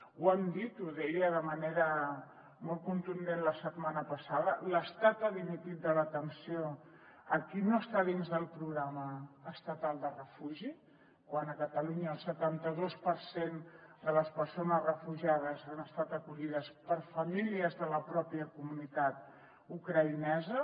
ho hem dit ho deia de manera molt contundent la setmana passada l’estat ha dimitit de l’atenció a qui no està dins del programa estatal de refugi quan a catalunya el setanta dos per cent de les persones refugiades han estat acollides per famílies de la pròpia comunitat ucraïnesa